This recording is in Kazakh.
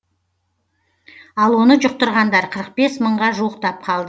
ал оны жұқтырғандар қырық бес мыңға жуықтап қалды